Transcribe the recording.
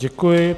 Děkuji.